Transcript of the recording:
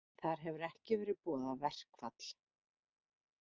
Þar hefur ekki verið boðað verkfall